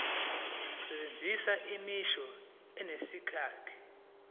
sebenzisa imisho enesakhiwo